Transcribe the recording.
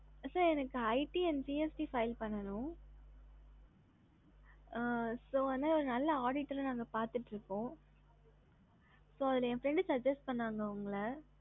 sir எனக்கு it and gst file பண்ணனும் so நல்ல auditor பாத்துக்குட்டு இருக்கோம் so ஏ friend suggest பண்ணாங்க உங்கள